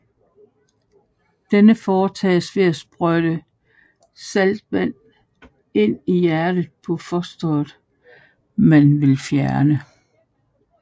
Denne foretages ved at sprøjte saltvand ind i hjertet på fosteret man vil fjerne